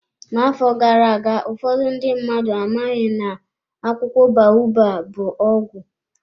N'afọ gara aga, ụfọdụ ndị mmadụ amaghị na akwụkwọ baobab bụ ọgwụ.